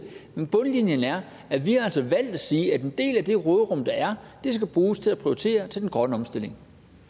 men bundlinjen er at vi altså har valgt at sige at en del af det råderum der er skal bruges til at prioritere den grønne omstilling